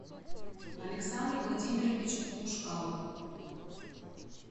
александр владимирович ушкау